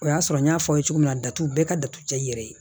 O y'a sɔrɔ n y'a fɔ aw ye cogo min na datugu bɛɛ ka datugu cɛ i yɛrɛ ye